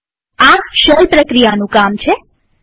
આ શેલ પ્રક્રિયાનું કામ છે